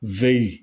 Zeri